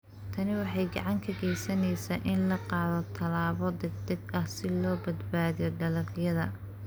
Tani waxay gacan ka geysaneysaa in la qaado tallaabo degdeg ah si loo badbaadiyo dalagyada.